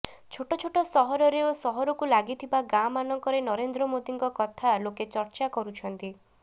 ଛୋଟ ଛୋଟ ସହରରେ ଓ ସହରକୁ ଲାଗିଥିବା ଗାଁମାନଙ୍କରେ ନରେନ୍ଦ୍ର ମୋଦୀଙ୍କ କଥା ଲୋକେ ଚର୍ଚ୍ଚା କରୁଛନ୍ତି